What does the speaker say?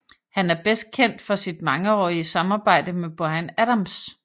Han er bedst kendt for sit mangeårige samarbejde med Bryan Adams